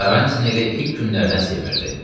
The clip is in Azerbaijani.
Karranti elə ilk günlərdən sevirdi.